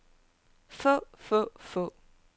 få få få